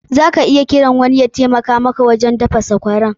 Za ka iya kiran wani ya taimaka maka wajen daka sakwaran.